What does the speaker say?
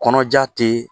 Kɔnɔja te